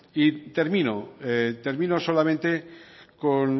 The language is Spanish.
y termino solamente con